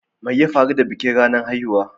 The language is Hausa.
Me ya faru da bikin ranar haihuwa?